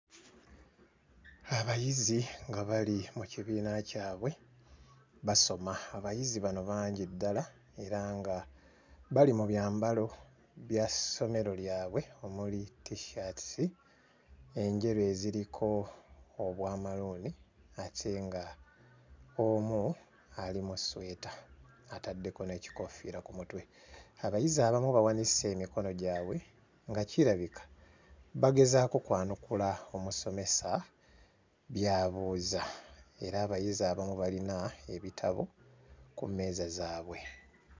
Abayizi nga bali mu kibiina kyabwe basoma. Abayizi bano bangi ddala era nga bali mu byambalo bya ssomero lyabwe omuli t-shirts enjeru eziriko obwa maroon ate nga omu ali mu ssweta ataddeko n'ekikoofiira ku mutwe abayizi abamu bawanise emikono gyabwe nga kirabika bagezaako kwanukula omusomesa by'abuuza era abayizi abamu balina ebitabo ku mmeeza zaabwe.